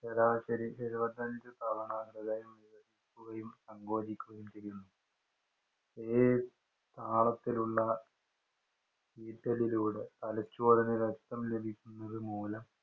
ശരാശരി എഴുപത്തിയഞ്ചു തവണ ഹൃദയം വികസിക്കുകയും, സങ്കോചിക്കുകയും ചെയ്യുന്നു. ഈ താളത്തിലുള്ള തലച്ചോറിനു രക്തം ലഭിക്കുന്നത് മൂലം